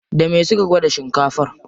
Da me suka gwada shinkafar?